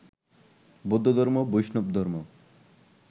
বৌদ্ধধর্ম, বৈষ্ণবধর্ম